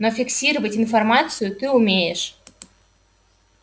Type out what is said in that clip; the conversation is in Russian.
но фиксировать информацию ты умеешь